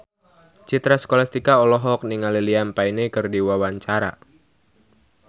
Citra Scholastika olohok ningali Liam Payne keur diwawancara